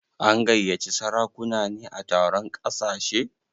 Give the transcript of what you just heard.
An gayyaci sarakuna ne a taron ƙasashe?